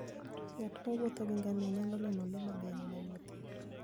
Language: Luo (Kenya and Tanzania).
Ng'at mowuotho gi ngamia nyalo neno le mang'eny manie thim.